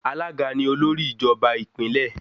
Alága ni olórí ìjọba ìpínlè.